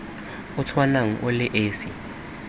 o tshwanang o le esi